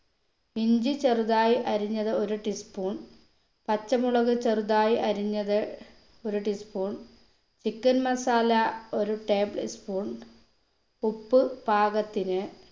ഇഞ്ചി ചെറുതായി അരിഞ്ഞത് ഒരു tea spoon പച്ചമുളക് ചെറുതായി അരിഞ്ഞത് ഒരു tea spoon chicken masala ഒരു table spoon ഉപ്പ് പാകത്തിന്